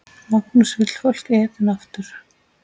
Magnús: Vill fólk Eden aftur?